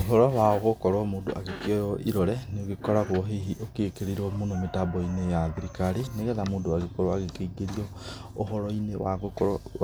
Ũhoro wa gũkorwo mũndũ agĩkĩoywo ĩrore nĩ ũgĩkoragwo hihi gĩkĩrĩirwo mũno mĩtambo-inĩ ya thirikari. Nĩgetha mũndũ agĩkorwo agĩkĩingĩrio ũhoro-inĩ